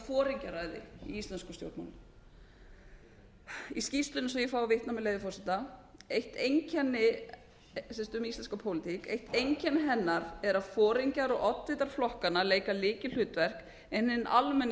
foringjaræði í íslenskum stjórnmálum í skýrslunni svo ég fái að vitna með leyfi forseta um íslenska pólitík eitt einkenni hennar er að foringjar og oddvitar flokkanna leika lykilhlutverk en hinn almenni